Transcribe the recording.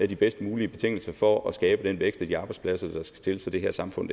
de bedst mulige betingelser for at skabe den vækst og de arbejdspladser der skal til så det her samfund